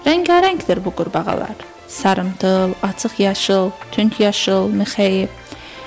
Rəngarəngdir bu qurbağalar: sarımtıl, açıq yaşıl, tünd yaşıl, mixəyi.